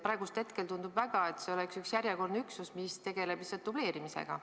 Praegusel hetkel tundub väga, et see oleks üks järjekordne üksus, mis tegeleb lihtsalt dubleerimisega.